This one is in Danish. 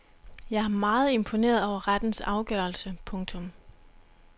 Jeg er meget imponeret over rettens afgørelse. punktum